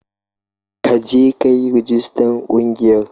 Ka je ka yi rijistar ƙungiyar